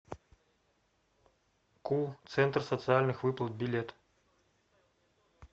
ку центр социальных выплат билет